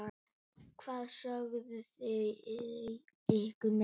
Hvað sögðu þau ykkur meira?